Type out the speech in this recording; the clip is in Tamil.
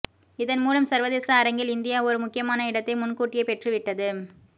இதன் மூலம் சர்வதேச அரங்கில் இந்தியா ஒரு முக்கியமான இடத்தை முன்கூட்டியே பெற்றுவி்ட்டது